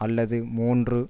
அல்லது மூன்று